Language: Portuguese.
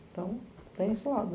Então, tem esse lado.